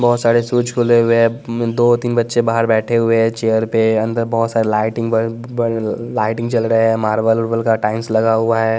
बहुत सारे शूज खुले हुए हैं दो तीन बच्चे बाहर बैठे हुए हैं चेयर पे अंदर बहुत सारे लाइटिंग लाइटिंग चल रहे हैं मार्बल उल्बल का टाइम्स लगा हुआ है।